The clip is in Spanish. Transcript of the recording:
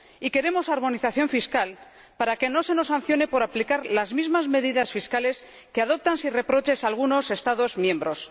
Y queremos armonización fiscal, para que no se nos sancione por aplicar las mismas medidas fiscales que adoptan sin reproches algunos Estados miembros.